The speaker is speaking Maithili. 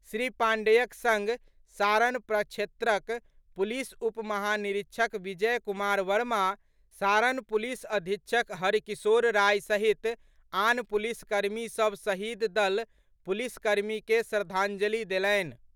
श्री पांडेयक संग सारण प्रक्षेत्रक पुलिस उप महानिरीक्षक विजय कुमार वर्मा, सारणक पुलिस अधीक्षक हरकिशोर राय सहित आन पुलिस कर्मी सभ शहीद दुनू पुलिस कर्मी के श्रद्धांजलि देलनि।